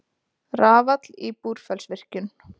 Rafall í Búrfellsvirkjun.